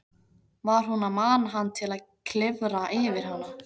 Var hún að mana hann til að klifra yfir hana?